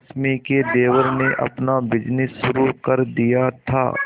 रश्मि के देवर ने अपना बिजनेस शुरू कर दिया था